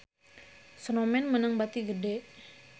Snowman meunang bati gede